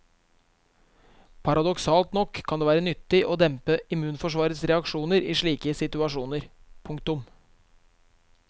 Paradoksalt nok kan det være nyttig å dempe immunforsvarets reaksjoner i slike situasjoner. punktum